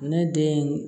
Ne den